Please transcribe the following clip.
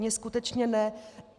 Mně skutečně ne.